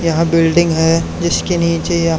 यहां बिल्डिंग हैं जिसके नीचे य--